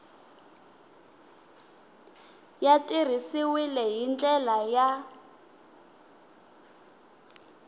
ya tirhisiwile hi ndlela ya